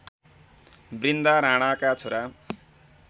बृन्दा राणाका छोरा